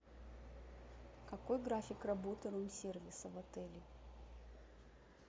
какой график работы рум сервиса в отеле